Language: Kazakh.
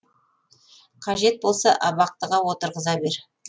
қажет болса абақтыға отырғыза бер